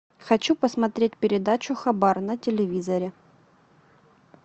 хочу посмотреть передачу хабар на телевизоре